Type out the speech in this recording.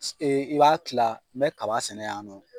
Ee i b'a tila n be kaba sɛnɛ yan nɔ